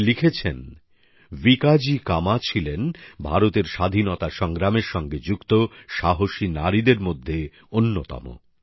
তিনি লিখেছেন ভিকাজি কামা ছিলেন ভারতের স্বাধীনতা সংগ্রামের সঙ্গে যুক্ত সাহসী নারীদের মধ্যে অন্যতম